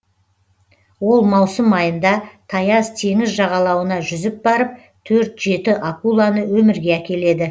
ол маусым айында таяз теңіз жағалауына жүзіп барып төрт жеті акуланы өмірге әкеледі